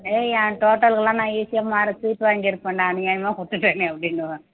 என் total க்கு எல்லாம் நான் easy யா வாங்கி இருப்பேண்டா அநியாயமா விட்டுட்டேனே அப்படின்னுவான்